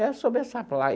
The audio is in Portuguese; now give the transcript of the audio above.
É sobre essa placa.